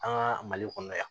An ka mali kɔnɔ yan